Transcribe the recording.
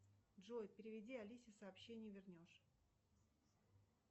джой переведи алисе сообщение вернешь